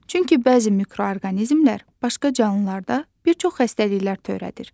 Çünki bəzi mikroorqanizmlər başqa canlılarda bir çox xəstəliklər törədir.